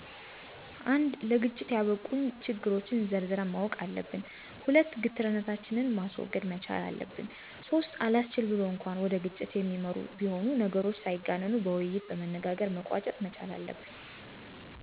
፩) ለግጭት ያበቁንን ችግሮች ዘርዝረን ማወቅ አለብን። ፪) ግትርነታችንን ማስወገድ መቻል አለብን። ፫) አላስችል ብሎ እንኳ ወደ ግጭት የሚያመሩ ቢሆኑ ነገሮች ሳይጋነኑ በውይይት በመነጋገር መቋጨት መቻል አለብን።